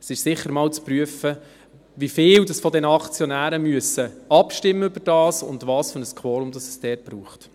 Es ist sicher einmal zu prüfen, wie viel der Aktionäre darüber abstimmen müssen und welches Quorum es dafür braucht.